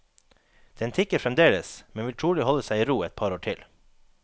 Den tikker fremdeles, men vil trolig holde seg i ro et par år til.